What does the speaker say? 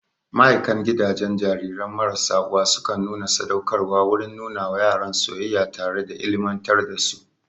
Ma'aikan gidajen jariran marasa uwa sukan nuna sadaukarwa wurin nuna wa yaran soyayya tare da ilimantar da su